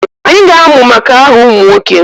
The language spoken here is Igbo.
Anyị ga-amụ maka aha ụmụ nwoke